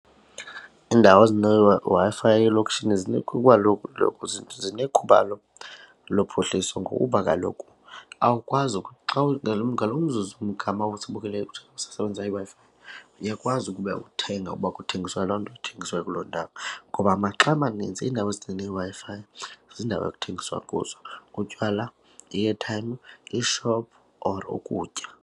Iindawo ezineWi-Fi elokishini zinekhubalo lophuhliso ngokuba kaloku awukwazi ngalo umzuzu umgama ozibukelayo usasebenzisa iWi-Fi uyakwazi ukuba uthenga ukuba kuthengiswa loo nto ithengiswa kuloo ndawo ngoba maxa amaninzi iindawo ezineWi-Fi ziindawo ekuthengiswa kuzo kutywala, i-airtime, iishophu or ukutya.